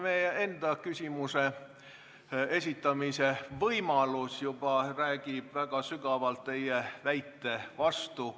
Teie enda küsimuse esitamise võimalus räägib juba tugevasti teie väite vastu.